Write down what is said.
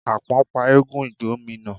Àpọ́n pa eégún ìgbómínà.